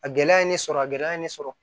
A gɛlɛya ye ne sɔrɔ a gɛlɛya ye ne sɔrɔ